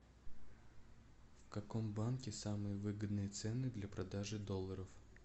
в каком банке самые выгодные цены для продажи долларов